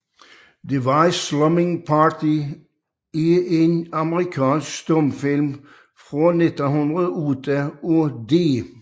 Deceived Slumming Party er en amerikansk stumfilm fra 1908 af D